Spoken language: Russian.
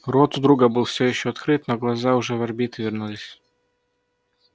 рот у друга был всё ещё открыт но глаза уже в орбиты вернулись